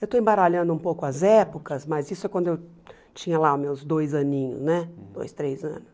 Eu estou embaralhando um pouco as épocas, mas isso é quando eu tinha lá meus dois aninhos né, dois, três anos.